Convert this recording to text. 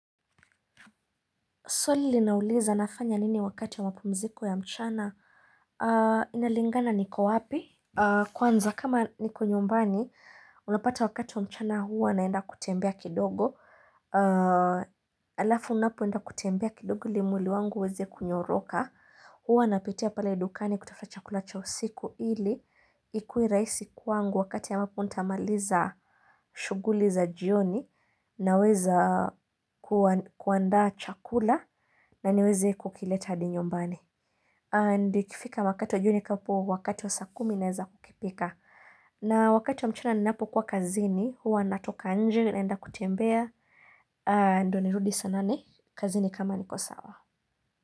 Swali linauliza nafanya nini wakati wa mapumziko ya mchana? Inalingana niko wapi? Kwanza kama niko nyumbani, unapata wakati wa mchana huwa naenda kutembea kidogo. Alafu unapoenda kutembea kidogo ili mwili wangu ueze kunyoroka. Huwa napitia pale dukani kutafta chakula cha usiku ili. Ikue rahisi kwangu wakati ambapo ntamaliza shughuli za jioni naweza kuandaa chakula. Na niweze kukileta hadi nyumbani. Na ikifika wakati wa jioni hapo wakati wa saa kumi naeza kukipika. Na wakati wa mchana ninapokuwa kazini, huwa natoka nje naenda kutembea. Ndo nirudi saa nane, kazini kama niko sawa.